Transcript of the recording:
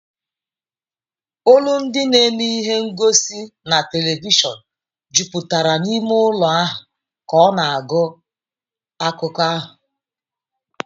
Olu ndi na-eme ihe ngosi na telivishọn jupụtara n'ime ụlọ ahụ ka ọ na-agụ akụkọ ahụ